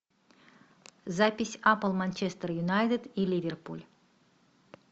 запись апл манчестер юнайтед и ливерпуль